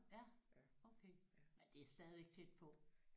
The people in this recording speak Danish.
Nåh ja okay men det er stadig tæt på